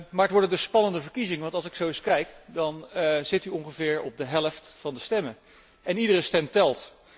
Maar het wordt dus een spannende verkiezing, want als ik zo eens kijk, dan zit u ongeveer op de helft van de stemmen en iedere stem telt.